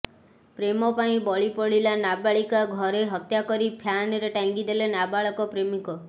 ପ୍ରେମପାଇଁ ବଳିପଡ଼ିଲା ନାବାଳିକା ଘରେ ହତ୍ୟାକରି ଫ୍ୟାନରେ ଟାଙ୍ଗିଦେଲେ ନାବାଳକ ପ୍ରେମିକ